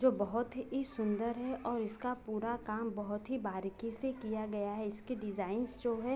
जो बहुत ही सुन्‍दर है और इसका पूरा काम बहुत ही बारीकी से किया गया है इसके डिजाईन्‍स जो हैं।